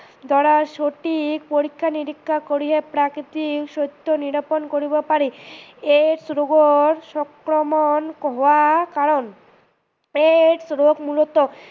দাৰা সঠিক পৰীক্ষা নিৰীক্ষা কৰিহে প্ৰকৃত সত্য নিৰোপন কৰিব পাৰি। AIDS ৰোগৰ সংক্ৰমন হোৱাৰ কাৰন, AIDS ৰোগ মূলত